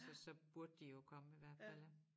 Altså så burde de jo komme i hvert fald ja